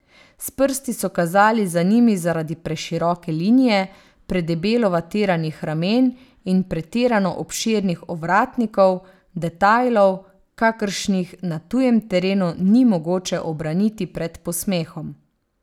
S prsti so kazali za njimi zaradi preširoke linije, predebelo vatiranih ramen in pretirano obširnih ovratnikov, detajlov, kakršnih na tujem terenu ni mogoče obraniti pred posmehom.